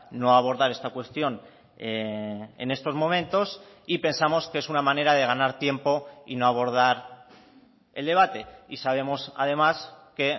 no abordar esta cuestión en estos momentos y pensamos que es una manera de ganar tiempo y no abordar el debate y sabemos además que